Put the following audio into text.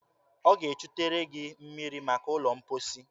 Ọ ga-echutere gị mmiri maka ụlọ mposi.